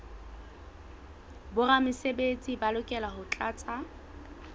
boramesebetsi ba lokela ho tlatsa